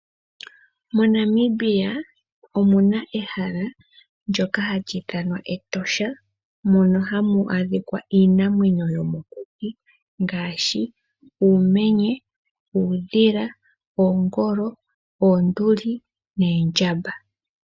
MoNamibia omuna ehala ndyoka hali ithanwa Etosha mono hamu adhika iinamwenyo yomokuti ngaashi uumenye, uundhila, oongolo, oonduli neendjamba.